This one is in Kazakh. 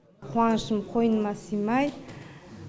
қуанышым қойныма сыймай